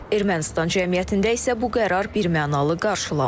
Ermənistan cəmiyyətində isə bu qərar birmənalı qarşılanmır.